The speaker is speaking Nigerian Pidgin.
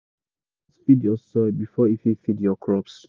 you gatz feed your soil before e fit feed your crops.